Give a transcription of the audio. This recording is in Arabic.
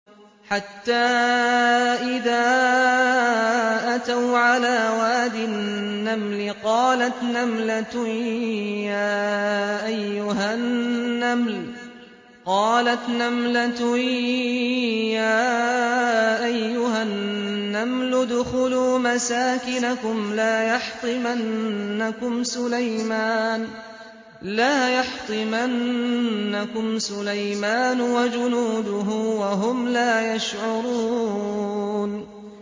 حَتَّىٰ إِذَا أَتَوْا عَلَىٰ وَادِ النَّمْلِ قَالَتْ نَمْلَةٌ يَا أَيُّهَا النَّمْلُ ادْخُلُوا مَسَاكِنَكُمْ لَا يَحْطِمَنَّكُمْ سُلَيْمَانُ وَجُنُودُهُ وَهُمْ لَا يَشْعُرُونَ